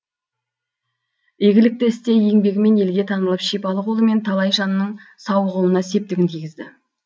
игілікті істе еңбегімен елге танылып шипалы қолымен талай жанның сауығуына септігін тигізді